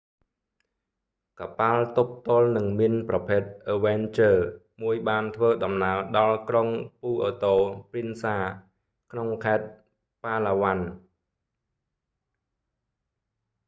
កប៉ាល់ទប់ទល់នឹងមីនប្រភេទអឹវែនជើរ avenger មួយបានធ្វើដំណើរដល់ក្រុងពូអឺតូ ព្រីនសា puerto princesa ក្នុងខេត្ត ប៉ាឡាវ៉ាន់ palawan